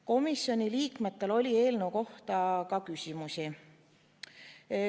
Komisjoni liikmetel oli eelnõu kohta ka küsimusi.